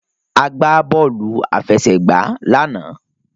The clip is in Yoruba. A gbá bọ́ọ̀lù àfẹsẹ̀gbá lánàá.